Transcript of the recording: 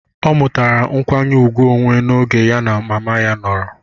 O mutara nkwanye ùgwù onwe n'oge ya na mama ya nọrọ